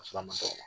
Ka sɔrɔ a ma nɔgɔ